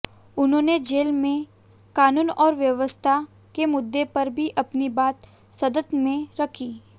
उन्होंने जेल में कानून और व्यवस्था के मुद्दे पर भी अपनी बात संसद में रखी